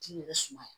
K'i yɛrɛ suma